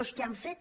els que han fet